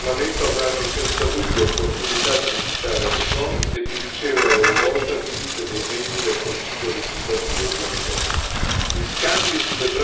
I membri di questo nuovo Parlamento avranno senza dubbio opportunità di visitare Hong Kong e di ricevere a loro volta visite dei membri del Consiglio legislativo di Hong Kong.